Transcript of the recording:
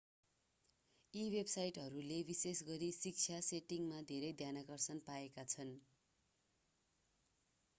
यी वेबसाइटहरूले विशेषगरी शिक्षा सेटिङमा धेरै ध्यानाकर्षण पाएका छन्